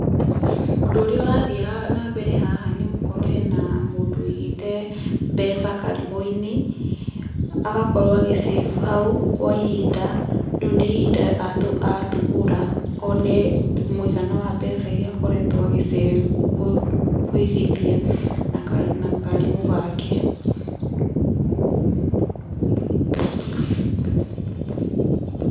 Ũndũ ũrĩa ũrathiĩ na mbere haha nĩ gũkorwo hena mũndũ wĩigĩte mbeca karimũ-inĩ, agakorwo agĩ save hau, kwa ihinda. Rĩu ni ihinda atumũra one muigana wa mbeca iria akoretwo agĩ save, kuigithia na karimũ gake.